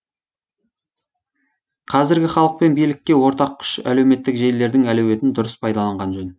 қазіргі халық пен билікке ортақ күш әлеуметтік желілердің әлеуетін дұрыс пайдаланған жөн